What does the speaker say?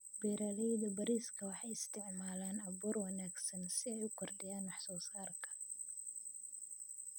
Beeralayda bariiska waxay isticmaalaan abuur wanaagsan si ay u kordhiyaan wax soo saarka.